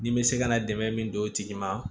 Ni bɛ se ka na dɛmɛ min don o tigi ma